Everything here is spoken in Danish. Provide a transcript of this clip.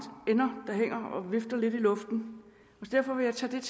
ender der hænger og vifter lidt i luften og derfor vil jeg tage det